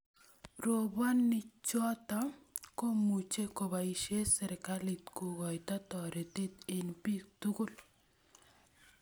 Roboni choto komuchi koboisie serkalit kokoito toretet eng bik tugul